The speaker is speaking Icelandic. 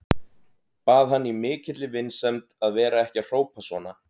Bað hann í mikilli vinsemd að vera ekki að hrópa svona.